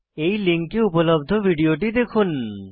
এই লিঙ্কে উপলব্ধ ভিডিওটি দেখুন